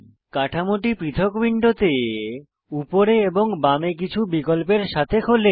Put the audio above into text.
কাঠামোটি পৃথক উইন্ডোতে উপরে এবং বামে কিছু নিয়ন্ত্রণের সাথে খোলে